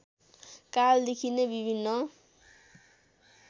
कालदेखि नै विभिन्न